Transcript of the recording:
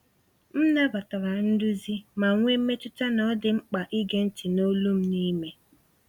M nabatara nduzi, ma nwee mmetụta na ọ dị mkpa ịge ntị n’olu m n’ime.